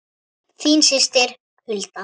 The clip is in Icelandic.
Þín systir Hulda.